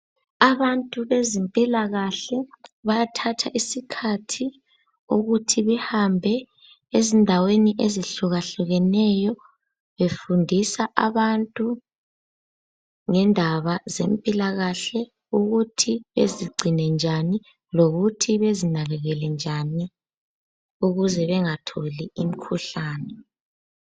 Abantu bezempilakahle bayathatha isikhathi ukuthi behambe ezindaweni ezihlukahlukeneyo befundisa abantu ngendaba zempilakahle ukuthi bezigcine njani lokuthi bezinakekele njani ukuze bengatholi imikhuhlane.